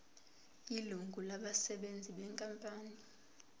ilungu labasebenzi benkampani